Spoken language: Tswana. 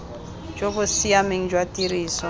jo bo siameng jwa tiriso